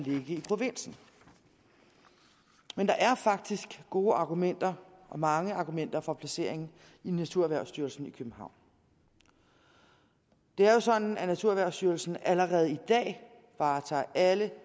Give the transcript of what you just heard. i provinsen men der er faktisk gode argumenter og mange argumenter for placeringen i naturerhvervsstyrelsen i københavn det er jo sådan at naturerhvervsstyrelsen allerede i dag varetager alle